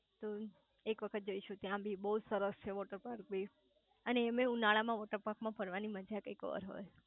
તો એક વખત જઈશું ત્યાં બી બઉજ સરસ છે વોટર પાર્ક બી એન એમેય ઉનાળા માં વોટરપાર્ક માં ફરવાની મજા જ કંઈક ઓર હોય